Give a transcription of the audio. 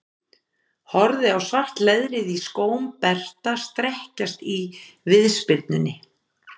Horfi á svart leðrið í skóm Berta strekkjast í viðspyrnunni.